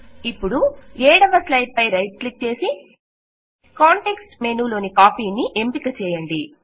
ఇపుడు 7 వ స్లైడ్ పై రైట్ క్లిక్ చేసి కంటెక్ట్స్ మెను లోని కాపీ ను ఎంపిక చేయండి